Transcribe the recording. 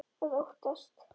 Að óttast!